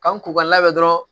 K'an k'u ka labɛn dɔrɔn